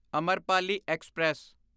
Amrapali express